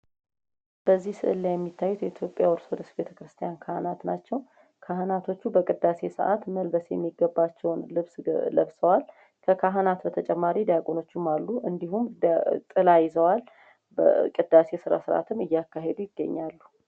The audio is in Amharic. በዚህ ስእል ላይ የሚታዩት የኢትዮጵያ ኦርቶዶክስ ቤተክርስቲያን ካህናት ናቸው ። ካህናቶቹ በቅዳሴ ሰዓት መልበስ የሚገባቸውን ልብስ ለብሰዋል ። ከካህናት በተጨማሪ ዲያቆናትም አሉ ። እንዲሁም ጥላ ይዘዋል በቅዳሴ ስነስርዓትም እያካሄዱ ይገኛሉ ።